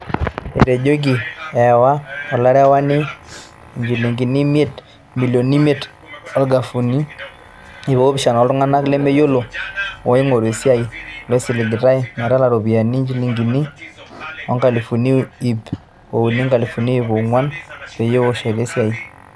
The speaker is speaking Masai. Etejoki ewaa olarewani injilingini imilioni imeit ongalifuni iip oopishana ooltunganak lemeyiolo ooingoru esiai, loisiligitay metalaa iropiyiani injilingini inkalofuni iip uni o nkalifuni iip oonguan peyie eshori esiai.